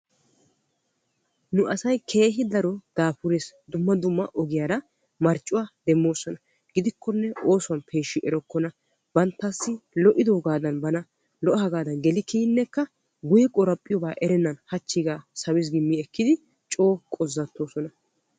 nu asay keehi daro daafurees, dumma dumma ogiyaara marccuwaa demmoosona gidikkonne oosuwan peeshshi erekkona banttassi lo''idoogadan bana lo''agaadan geli kiyyinekka hachchiiga mi ekkidi coo qozzattoosona.